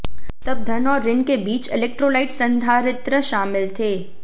तब धन और ऋण के बीच इलेक्ट्रोलाइट संधारित्र शामिल थे